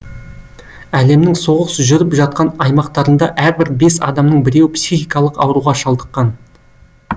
әлемнің соғыс жүріп жатқан аймақтарында әрбір бес адамның біреуі психикалық ауруға шалдыққан